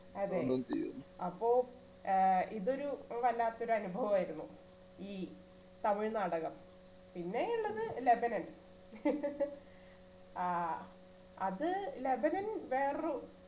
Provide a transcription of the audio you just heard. അതേ. അപ്പോൾ ആ ഇതൊരു വല്ലാത്തൊരു അനുഭവായിരുന്നു ഈ തമിഴ് നാടകം പിന്നെ ഉള്ളത് ലബനൻ ആ അത് ലബനൻ വേറൊരു